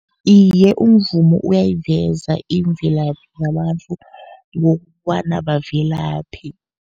Iye, umvumo uyayiveza imvelaphi yabantu, ngokobana bavelaphi.